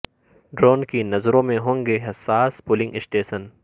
drone کی نظروں میں ہوں گے حساس پولنگ اسٹیشن